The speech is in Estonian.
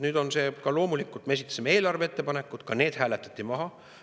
Loomulikult, me esitasime eelarve kohta ettepanekud, ka need hääletati maha.